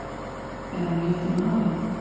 Er hann rétti maðurinn?